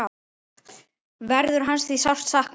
Verður hans því sárt saknað.